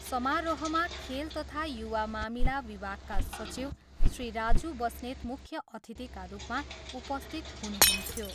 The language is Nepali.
समारोहमा खेल तथा युवा मामिला विभागका सचिव श्री राजू बस्नेत मुख्य अतिथिका रूपमा उपस्थित हुनुहुन्थ्यो।